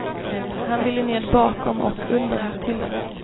Han ville ned bakom och under hatthyllan.